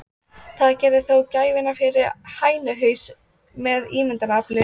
Það gerði þó gæfumuninn fyrir hænuhaus með ímyndunarafl.